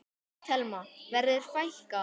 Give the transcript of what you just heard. Telma: Verður fækkað?